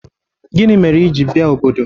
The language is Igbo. Gini mere i ji bia obodo?